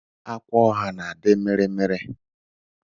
Akwaọha na-adị mịrị mịrị